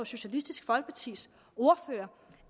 socialistisk folkepartis ordfører